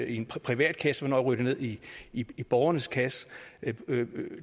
i en privat kasse og ryger ned i i borgernes kasse